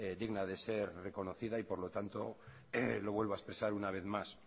digna de ser reconocida y por lo tanto lo vuelvo a expresar una vez más